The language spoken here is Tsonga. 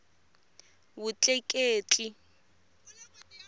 vutleketli